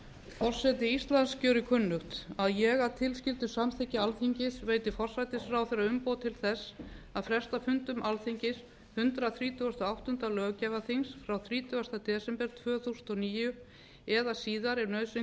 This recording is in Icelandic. forseti íslands gjörir kunnugt að ég að tilskildu samþykki alþingis veiti forsætisráðherra umboð til þess að fresta fundum alþingis hundrað þrítugasta og áttunda löggjafarþings frá þrítugasti desember tvö þúsund og níu eða síðar ef nauðsyn